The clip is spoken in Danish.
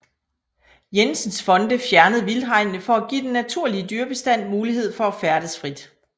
Jensens Fonde fjernet vildthegnene for at give den naturlige dyrebestand mulighed for at færdes frit